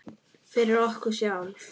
Fyrir okkur sjálf.